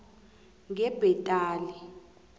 ngebhetali